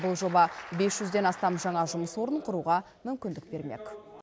бұл жоба бес жүзден астам жаңа жұмыс орнын құруға мүмкіндік бермек